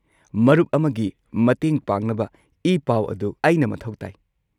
ꯃꯔꯨꯞ ꯑꯃꯒꯤ ꯃꯇꯦꯡ ꯄꯥꯡꯅꯕ ꯏ-ꯄꯥꯎ ꯑꯗꯨ ꯑꯩꯅ ꯃꯊꯧ ꯇꯥꯏ꯫